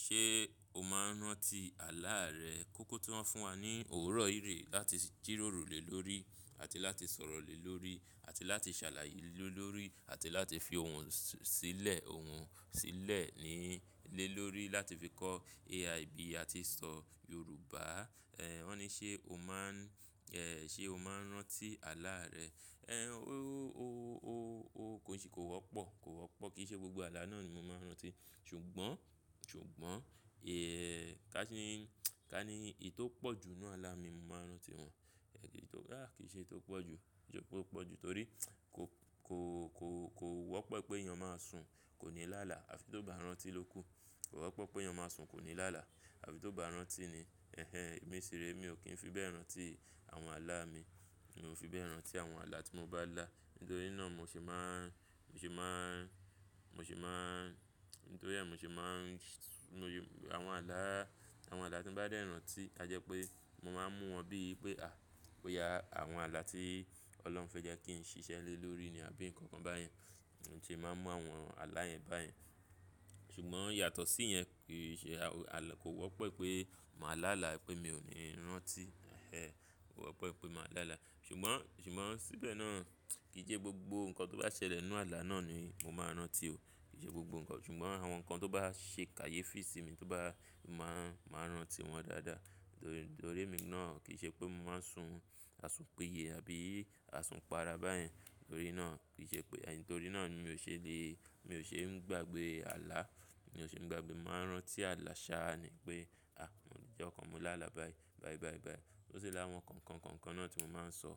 Ṣe o maa n rántí àlá rẹ? Kókó tó ń fún wa ní òórọ̀ yíì rè láti jìròrò lé lórí àti láti sọ̀rọ̀ lé lórí àti láti ṣàlàyé lé lórí àti láti fi ohùn sílẹ̀, ohùn sílẹ̀ lé lórí láti fi kọ́ AIB àti sọ Yorùbá. Ẹ̀, wọ́n ní ṣe o máa n, ẹ̀, ṣe o máa n rántí àlá rẹ? Ẹ̀, o, o, o, o kò sí, kò wọ́pọ̀, kò wọ́pọ̀. Kì í ṣe gbogbo àlá náà ni mi máa n rántí. Ṣùgbọ́n, ṣùgbọ́n, ì, ká ní, ká ní èyí tó pọ̀ jù nínú àlá mi mo máa n rántí wọn. Tó, a, kì í ṣe èyí tó pọ̀jù, jọ̀ọ́ tó pọ̀jù torí kò, kò, kò, kò wọ́pọ̀ pé èèyàn máa sùn kò ní lá àlá àfi tó bá rántí lóku. Kò wọ́pọ̀ pé èèyàn máa sùn kò ní lá àlá àfi tó bá rántí ni. Ẹ̀hẹn, èmi sí rẹ̀, èmi ò kí n fi bẹ́ẹ̀ rántí àwọn àlá mi. Èmi ò fi bẹ́ẹ̀ rántí àwọn àlá tí mo bá lá. Nítorí náà, mo sì máa n, mo sì máa n, mo sì máa n, nítorí ẹ́ mo sì máa n, nu oyè, àwọn àlá, àwọn àlá tí n bá dẹ̀ rántí, a jẹ́ pé mo máa ń mú wọn bíi pé, à, ó ya àwọn àlá tí Ọlọ́run fẹ́ jẹ́ kí n ṣiṣẹ́ lé lórí ni àbí nǹkan kan báyẹn. Mo se máa ń mú àwọn àlá yẹn báyẹn. Ṣùgbọ́n, yàtọ̀ sí yẹn, kì í ṣe a, kò wọ́pọ̀ pé màá lá àlá pé mi ò ní rántí. Ẹ̀hẹn, kò wọ́pọ̀ pé màá lá àlá. Ṣùgbọ́n, ṣùgbọ́n síbẹ̀ náà, kì í sẹ́ gbogbo nǹkan tó bá ṣẹlẹ̀ nínú àlá náà ni mo máa n rántí o. Kìí se gbogbo nńkan. Ṣùgbọ́n àwọn nǹkan tó bá ṣe kàyéfì sí mi, tó bá, màá n, màá n rántí wọn dáadáa. Nítorí, nítorí èmi náà kì í ṣe pé mo máa ń sùn, a sùn pìyé àbí a sùn pàrà báyẹn. Nítorí náà kì í ṣe pé, en, nítorí náà ni mi ò ṣe lè, mi ò ṣe ń gbàgbé àlá. Mi ò ṣe ń gbàgbé, màá rántí àlá ṣáá ni pé à, ìjo kan mo lá àlá báyìí, báyìí, báyìí, báyìí. Ó sì lá àwọn kànkàn kànkàn náà tí mo máa ń sọ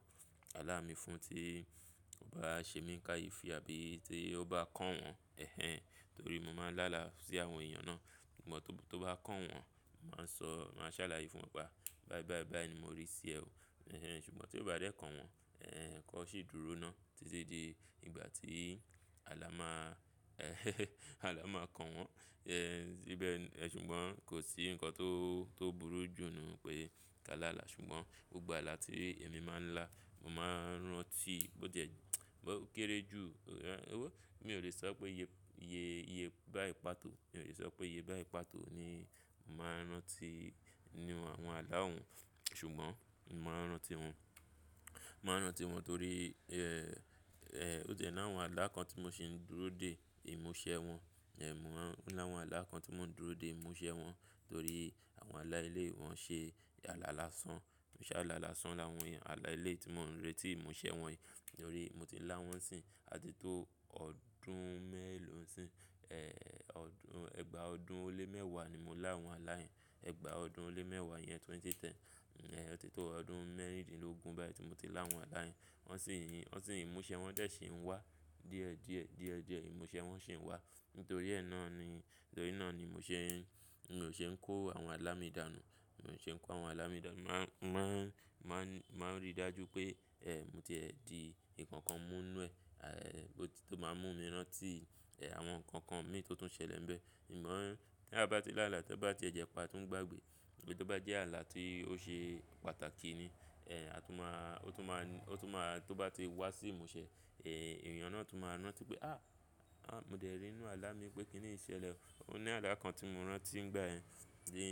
àlá mi fún tí ó bá ṣe mí kàyéfì àbí tí ó bá kàn wọ́n. Ẹ̀hẹn, torí mo máa ń lá àlá sí àwọn èèyàn náà. Ṣùgbọ́n, tó bá kàn wọ́n, máa sọ, máa ṣàlàyé fún wọn pé a, báyìí, báyìí, báyìí ni mo rí i sí ẹ o. Ẹ̀hẹn, ṣùgbọ́n tí ó bá dé kàn wọ́n, ẹ̀, kan ṣì dúró náà títí di ìgbà tí àlá máa, ẹ̀, àlá máa kàn wọ́n. Ẹ̀n, síbẹ̀, ẹ̀ ṣùgbọ́n, kò sí nǹkan tó, tó burú jù nù pé ká lá àlá. Sùgbón, gbogbo àlá tí èmi máa ń lá, mo máa ń ránti, bó ti è, ó kéré jù, mi ò lè so pé iye báyi ni pàtó. Mi ò lè sọ pé iye báyi pàtó ni mò máa n rántí, ni àwọn àlá òun. Ṣùgbọ́n, mò máa n rántí wọn. Màá n rántí wọn torí, ẹ́, ẹ́, ó ti è ní àwọn àlá kan tí mo sì ń dúró dè ìmúṣẹ wọn. Ẹ̀muwa o ni àwọn àlá kan tí mò ń dúró dè ìmúṣẹ wọn torí àwọn àlá èyi, wọ̀n ṣe alá làsán. Mo ṣẹ́ alá làsán láwọn àlá èyí tí mò ń retí ìmúṣẹ wọn yìí nítorí mo ti ń lá wọ́n sí i àti tó ọdún mẹ́ẹ̀lọ́na sí i. Ẹ̀, ọdún, ẹgbàá ọdún ó lé mẹ́wàá ni mo lá àwọn àlá yẹn. Ẹgbàá ọdún ó lé mẹ́wàá yẹn 2010. Ẹ̀, tí tó ọdún mẹ́rìndínlógún báyìí tí mo tí lá àwọn àlá yẹn. Wọ́n sì ń, wọ́n sì ń, ìmúṣẹ wọn dẹ̀ sì ń wá. Díẹ̀ díẹ̀, díẹ̀ díẹ̀ ìmúṣẹ wọn sì ń wá. Nítorí ẹ́ náà ni, nítorí náà ni mo ṣe ń, mi ò ṣe ń kó àwọn àlá mi dànù. Mi ò ṣe ń kó àwọn àlá mi dànù. Màá n, máa n, máa n rí dájú pé, ẹ́, mo ti ẹ di nńkankan mú nu ẹ. À, bó tí tó máa mú mi rántí, àwọn nǹkan kan mi tó tún ṣẹlẹ̀ ńbẹ̀. Èmi mọ̀ ọ́n tí a bá ti lá àlá tí ó bá ti jẹpa, tó ń gbàgbé, tò bá jẹ́ àlá tí ó ṣe pàtàkì ni, ẹ́, a tún máa, ó tún máa, ó tún máa, tó bá ti wá sí ìmúṣẹ, èyí àwọn náà tún máa rántí pé à, à, mo dẹ̀ rí inú àlá mi pé kí ni í ṣẹlẹ̀ o. Ó ní àlá kan tí mo rántí ń gbà ẹ́ ní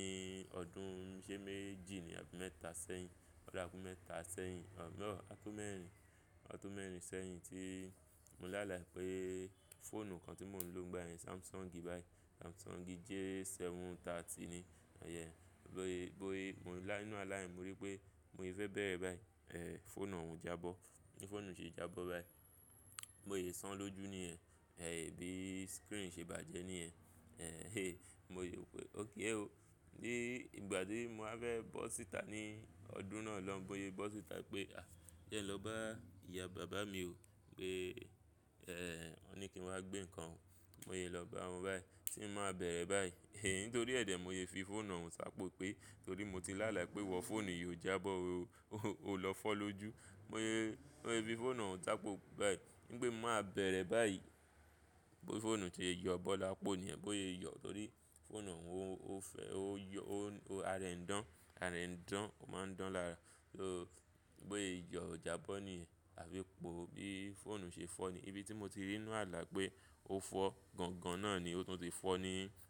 ọdún ṣé méjì ni àbí mẹ́ta sẹ́yìn. Ọ̀ dára pé mẹ́ta sẹ́yìn. Ọ̀, mọ́, a tó mẹ́rin, a tó mẹ́rin sẹ́yìn tí mo lá àlá pé fóònù kan tí mò ń lò ń gbà ẹ́ Samsung báyìí. Samsung J730 ni. Ọ̀ yẹn, bó ye, bó ye, mò ń lá inú àlá yẹn, mo rí pé mo sẹ fẹ́ bẹ̀rẹ̀ báyìí. Ẹ̀, fóònù òun jábọ́. Bi fóònù ṣe jábọ́ báyìí. Bo yèé san lójú ni ẹ́. Ẹ̀, bí screen ṣe bàjẹ́ níyen. Ẹ̀, he, mo yò pé okay o. Ni ìgbà tí mo máa fẹ́ bọ́ sìta, ní ọdún náà ló ń bó ye bọ́ sìta pé à, jẹ́ lọ bá ìyá bàbá mi o pé, ẹ́, wọ́n ní kí n wá gbé nǹkan. Mo yè lọ bá wọn báyìí, tí mo máa bẹ̀rẹ̀ báyìí, é, nítorí ẹ̀ dẹ̀ mo sè fi fóònù òun sá pokú pé torí mo ti lá àlá pé iwọ fóònù yìí o jábọ́ o, o lọ fọ́ lójú. Mo yè, mo yè fi fóònù òun sá po báyìí ní pé mo máa bẹ̀rẹ̀ báyìí. Fóònù ti yọ bọ́ lápo ni ẹ́, bó ye yọ torí fóònù òun ó fẹ́, ó yọ, ó, ara rẹ̀ ń dán, ara rẹ̀ ń dán, ó máa ń dán lára. Ó, bó ye yọ jábọ́ níyen àfi po bí fóònù ṣe fọ́ ni. Ibi tí mo ti rí inú àlá pé ó fọ́ gangan náà ni ó tún ti fọ́ ni.